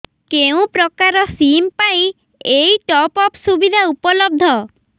କେଉଁ ପ୍ରକାର ସିମ୍ ପାଇଁ ଏଇ ଟପ୍ଅପ୍ ସୁବିଧା ଉପଲବ୍ଧ